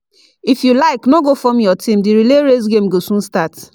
if you like no go form your team, the relay race game go soon start